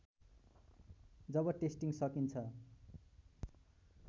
जब testing सकिन्छ